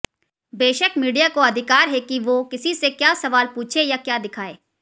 बेशक मीडिया को अधिकार है कि वो किसी से क्या सवाल पूछे या क्या दिखाए